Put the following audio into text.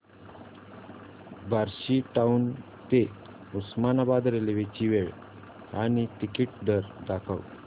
Barshi town ते Osmanabad railway ची वेळ आणि तिकीट दर दाखव